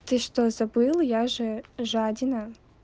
ты что забыла я же жадина